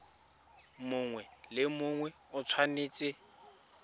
mongwe le mongwe o tshwanetse